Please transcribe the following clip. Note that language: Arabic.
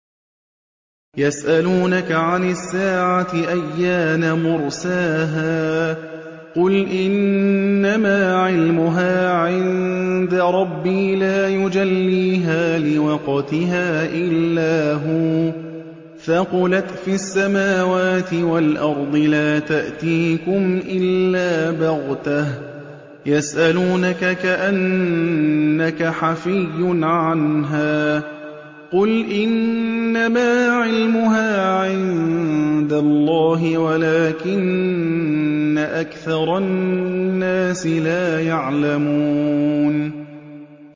يَسْأَلُونَكَ عَنِ السَّاعَةِ أَيَّانَ مُرْسَاهَا ۖ قُلْ إِنَّمَا عِلْمُهَا عِندَ رَبِّي ۖ لَا يُجَلِّيهَا لِوَقْتِهَا إِلَّا هُوَ ۚ ثَقُلَتْ فِي السَّمَاوَاتِ وَالْأَرْضِ ۚ لَا تَأْتِيكُمْ إِلَّا بَغْتَةً ۗ يَسْأَلُونَكَ كَأَنَّكَ حَفِيٌّ عَنْهَا ۖ قُلْ إِنَّمَا عِلْمُهَا عِندَ اللَّهِ وَلَٰكِنَّ أَكْثَرَ النَّاسِ لَا يَعْلَمُونَ